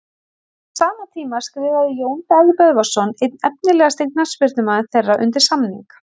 En á sama tíma skrifaði Jón Daði Böðvarsson einn efnilegasti knattspyrnumaður þeirra undir samning.